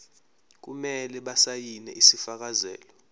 kumele basayine isifakazelo